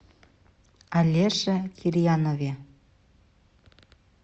алеше кирьянове